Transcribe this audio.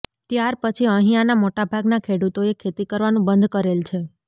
ત્યાર પછી અહિયાંના મોટાભાગના ખેડૂતોએ ખેતી કરવાનું બંધ કરેલ છે